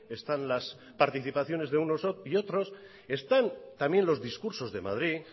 están las participaciones de unos y otros están también los discursos de madrid